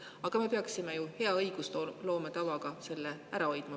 Aga me peaksime ju hea õigusloome tava järgides selle ära hoidma.